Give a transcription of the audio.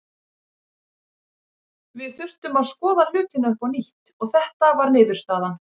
Við þurftum að skoða hlutina upp á nýtt og þetta var niðurstaðan.